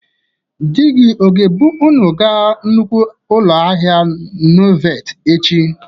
Di gi ọ ga-ebụ ụnụ ga nnukwu ụlọ ahịa Nyovat echi?